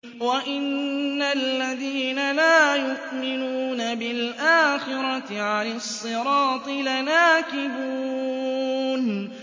وَإِنَّ الَّذِينَ لَا يُؤْمِنُونَ بِالْآخِرَةِ عَنِ الصِّرَاطِ لَنَاكِبُونَ